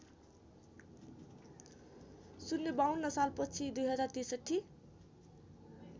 ०५२ सालपछि २०६३